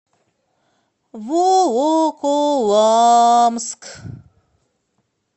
волоколамск